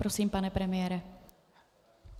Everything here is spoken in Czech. Prosím, pane premiére.